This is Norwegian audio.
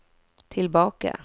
tilbake